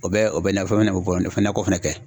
O bɛ o bɛ nakɔ fɛnɛ kɛ.